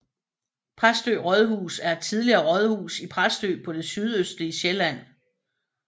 Præstø Rådhus er et tidligere rådhus i Præstø på det sydøstlige Sjælland